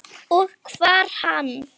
Og hvar er hann?